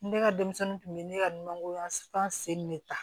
Ne ka denmisɛnninw kun bɛ ne ka nankoro yanfan sen de ta